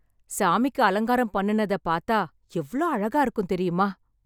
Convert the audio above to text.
சாமிக்கு அலங்காரம் பண்ணுத பார்த்தா எவ்வளவு அழகா இருக்கும் தெரியுமா